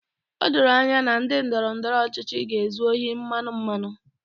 O doro anya na ndị ndọrọ ndọrọ ọchịchị ga-ezu ohi mmanụ mmanụ